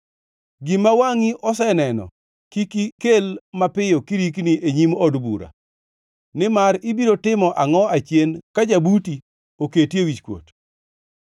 Gima wangʼi oseneno kik ikel mapiyo kirikni e nyim od bura; nimar ibiro timo angʼo achien ka jabuti oketi e wichkuot?